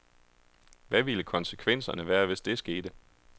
Hvad ville konsekvenserne være, hvis det skete.